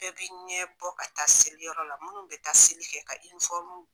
Bɛɛ bi i ɲɛ bɔ ka taa seliyɔrɔ la munnu be taa seli kɛ ka